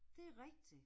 Det er rigtigt